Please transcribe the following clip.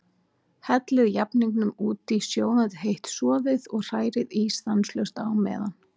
Hellið jafningnum út í sjóðandi heitt soðið og hrærið í stanslaust á meðan.